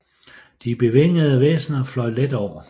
De bevingede væsener fløj let over